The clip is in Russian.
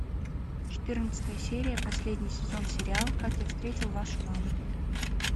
четырнадцатая серия последний сезон сериал как я встретил вашу маму